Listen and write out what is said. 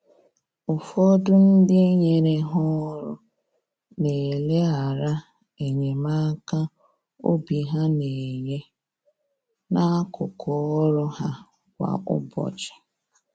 Ụfọdụ ndị nyere ha ọrụ na eleghara enyemaka obi ha na-enye, n’akụkụ ọrụ ha kwa ụbọchị.